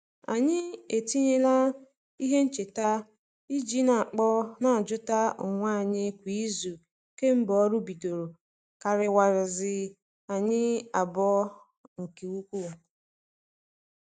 Anyị etinyela ihe ncheta i ji n'akpọ n'ajuta onwe anyi kwa izu kemgbe ọrụ bidoro kariwaziere anyi abụọ nke ukwuu.